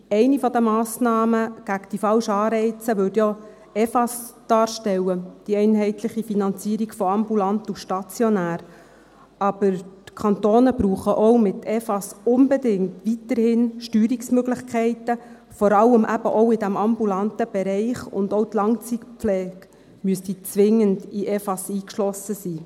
Eine der Massnahmen gegen die falschen Anreize würde auch die einheitliche Finanzierung von ambulanten und stationären Leistungen (EFAS) darstellen, aber die Kantone brauchen auch mit EFAS weiterhin unbedingt Steuerungsmöglichkeiten, vor allem eben auch in diesem ambulanten Bereich, und auch die Langzeitpflege müsste zwingend in EFAS eingeschlossen sein.